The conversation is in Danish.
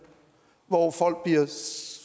hvor folk